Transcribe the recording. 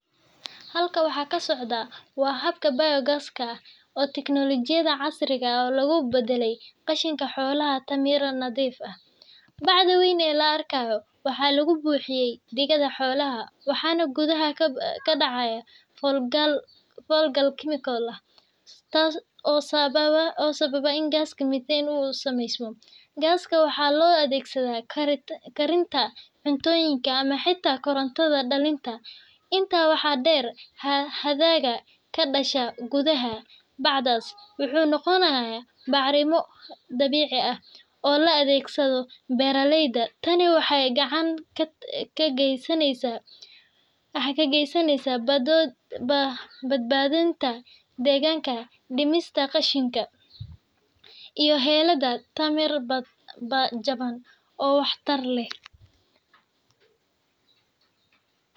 Halkan waxa ka socda waa habka biogaaska, oo tignoolajiyad casri ah oo lagu beddelayo qashinka xoolaha tamar nadiif ah. Bacda weyn ee la arkayo waxaa lagu buuxiyaa digada xoolaha, waxaana gudaha ka dhaca falgal kiimiko ah oo sababa in gaas methane ah uu sameysmo. Gaaskaas waxaa loo adeegsadaa karinta cuntooyinka ama xitaa koronto dhalinta. Intaa waxaa dheer, hadhaaga ka dhasha gudaha bacdaas wuxuu noqonayaa bacrimin dabiici ah oo loo adeegsado beeralayda. Tani waxay gacan ka geysaneysaa badbaadinta deegaanka, dhimista qashinka, iyo helidda tamar jaban oo waxtar leh.